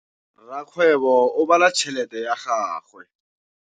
Rakgwêbô o bala tšheletê ya gagwe.